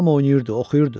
Hamı oynayırdı, oxuyurdu.